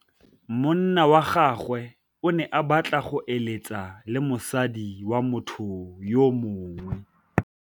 Monna wa gagwe o ne a batla go êlêtsa le mosadi wa motho yo mongwe.